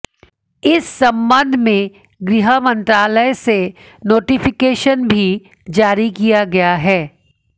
इस संबंध में गृह मंत्रालय से नोटिफिकेशन भी जारी किया गया है